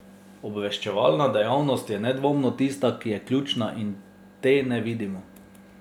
Obveščevalna dejavnost je nedvomno tista, ki je ključna in te ne vidimo.